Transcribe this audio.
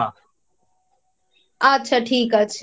আচ্ছা ঠিক আছে